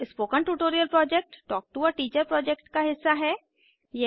spoken tutorial project talk to a teacher project का हिस्सा है